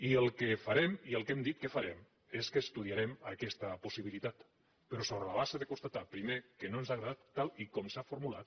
i el que farem i el que hem dit que farem és que estudia·rem aquesta possibilitat però sobre la base de constatar primer que no ens ha agradat tal com s’ha formulat